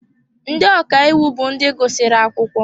Ndị ọka iwu bụ ndị gụsịrị akwụkwọ.